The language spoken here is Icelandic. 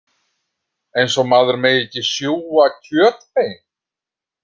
Eins og maður megi ekki sjúga kjötbein.